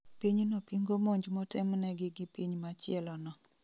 Pinyno pingo monj motemnegi gi piny machielo no